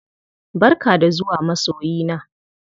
Barka da zuwa masoyina!